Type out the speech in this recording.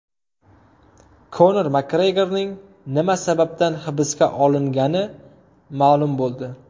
Konor Makgregorning nima sababdan hibsga olingani ma’lum bo‘ldi.